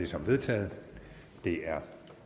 som vedtaget det er